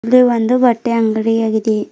ಇದು ಒಂದು ಬಟ್ಟೆ ಅಂಗಡಿ ಆಗಿದೆ.